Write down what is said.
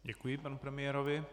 Děkuji panu premiérovi.